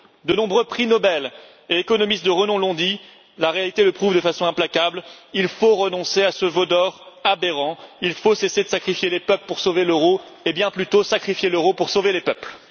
De nombreux prix Nobel et économistes de renom l'ont dit, la réalité le prouve de façon implacable il faut renoncer à ce veau d'or aberrant, il faut cesser de sacrifier les peuples pour sauver l'euro et bien plutôt sacrifier l'euro pour sauver les peuples.